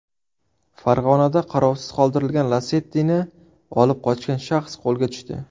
Farg‘onada qarovsiz qoldirilgan Lacetti’ni olib qochgan shaxs qo‘lga tushdi.